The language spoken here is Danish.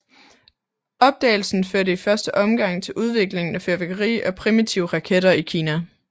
Opdagelsen førte i første omgang til udvikling af fyrværkeri og primitive raketter i Kina